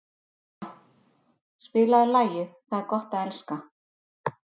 Freyja, spilaðu lagið „Það er gott að elska“.